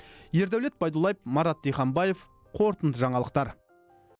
ердәулет байдуллаев марат диханбаев қорытынды жаңалықтар